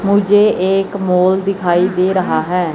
मुझे एक मॉल दिखाई दे रहा है।